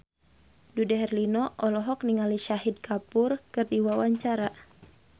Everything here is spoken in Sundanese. Dude Herlino olohok ningali Shahid Kapoor keur diwawancara